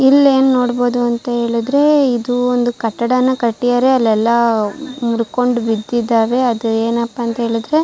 ಇಲ್ಲಿ ಏನು ನೋಡಬಹುದು ಅಂತ ಹೇಳಿದ್ರೆ ಇದು ಒಂದು ಕಟ್ಟಡನ ಕಟ್ಟಿದ್ದಾರೆ ಅಲ್ಲೆಲ್ಲ ಮುರ್ಕೊಂಡು ಬಿದ್ದಿದ್ದಾವೆ ಅದು ಏನಪ್ಪಾ ಅಂತ ಹೇಳಿದ್ರೆ.